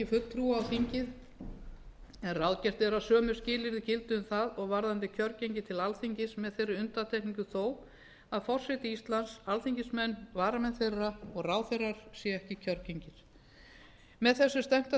fulltrúa á þingið en ráðgert er að sömu skilyrði gildi um það og varðandi kjörgengi til alþingis með þeirri undantekningu þó að forseti íslands alþingismenn varamenn þeirra og ráðherrar séu ekki kjörgengir með þessu er stefnt að